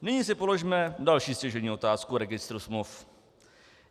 Nyní si položme další stěžejní otázku o registru smluv.